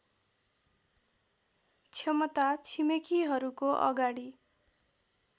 क्षमता छिमेकीहरूको अगाडि